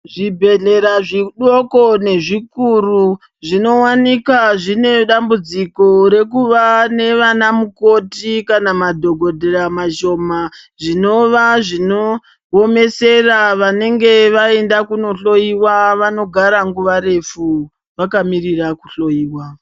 Zvibhehlera zvidoko nezvikuru zvinowanikwa zvine dambudziko rekuva nanamukoti kana madhokodheya mashoma zvinova zvinowomesera vanenge vaenda kunohloyiwa vanogara nguva refu vakamirira kuhloyiwa.